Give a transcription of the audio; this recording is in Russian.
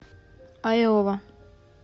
айова